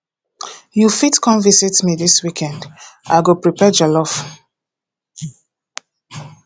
you fit come visit me this weekend i i go prepare jollof